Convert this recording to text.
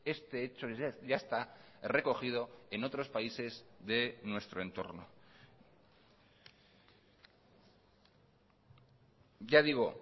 este hecho ya está recogido en otros países de nuestro entorno ya digo